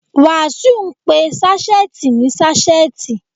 Wàsíù ń pe sáṣẹ́ẹ̀tì ní ṣásẹ́ẹ̀tì.